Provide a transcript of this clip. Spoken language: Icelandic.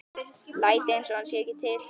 Læt einsog hann sé ekki til.